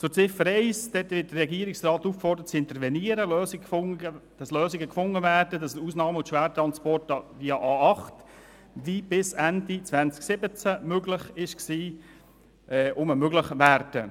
Zu Ziffer 1: Der Regierungsrat wird aufgefordert zu intervenieren, damit Lösungen gefunden und Ausnahme- und Schwertransporte via A8 wieder möglich werden, wie sie bis Ende 2017 möglich waren.